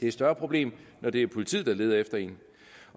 et større problem når det er politiet der leder efter en